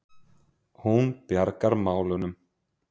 Hún bjargar málunum.